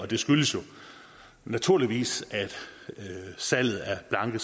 det skyldes naturligvis at salget af blanke